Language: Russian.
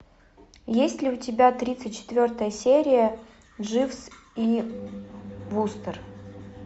есть ли у тебя тридцать четвертая серия дживс и вустер